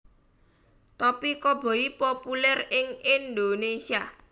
Topi Koboi populèr ing Indonesia